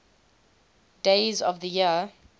days of the year